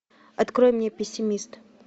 открой мне пессимист